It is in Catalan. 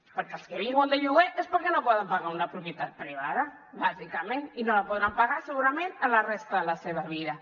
perquè els que viuen de lloguer és perquè no poden pagar una propietat privada bàsicament i no la podran pagar segurament a la resta de la seva vida